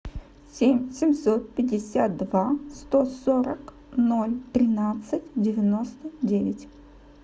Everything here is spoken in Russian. семь семьсот пятьдесят два сто сорок ноль тринадцать девяносто девять